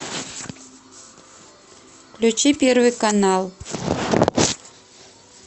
включи первый канал